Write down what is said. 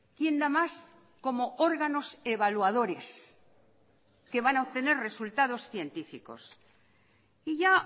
quién da más como órganos evaluadores que van a obtener resultados científicos y ya